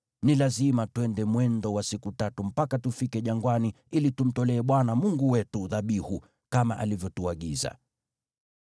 Ni lazima twende mwendo wa siku tatu mpaka tufike jangwani ili tumtolee Bwana Mungu wetu dhabihu, kama alivyotuagiza.”